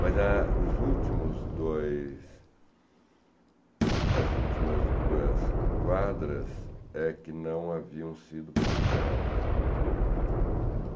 Mas a os últimos dois, as últimas duas quadras é que não haviam sido publicadas.